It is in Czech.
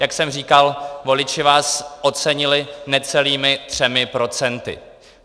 Jak jsem říkal, voliči vás ocenili necelými třemi procenty.